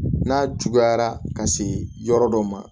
N'a juguyara ka se yɔrɔ dɔ ma